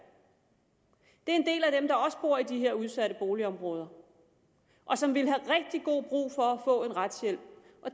det er en del af dem der også bor i de her udsatte boligområder og som ville have rigtig god brug for at få en retshjælp